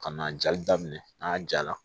Ka na jali daminɛ n'a ja la